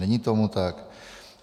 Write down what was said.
Není tomu tak.